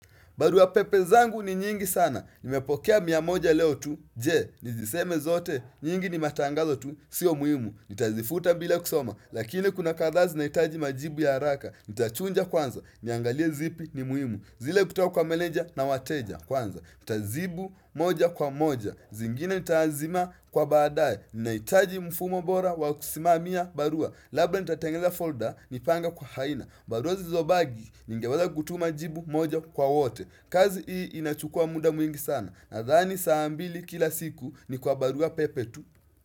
Barua pepe zangu ni nyingi sana. Nimepokea mia moja leo tu. Je, niziseme zote? Nyingi ni matangazo tu. Sio muhimu. Nitazifuta bila kusoma. Lakini kuna kadhaa zinahitaji majibu ya haraka. Nitachuja kwanza niangalie zipi ni muhimu. Zile ukitoa kwa meneja na wateja kwanza. Nitajibu moja kwa moja, zingine nitaazima kwa baadae. Ninahitaji mfumo bora wa kusimamia barua Labda nitatengeneza folda, nipange kwa aina. Barua zilizobaki. Ningeweza kutuma jibu moja kwa wote. Kazi hii inachukua muda mwingi sana. Nadhani saa mbili kila siku, ni kwa barua pepe tu.